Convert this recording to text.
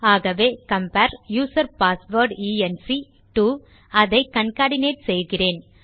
ஆகவே compare user password encode - அதை concatenate செய்கிறேன்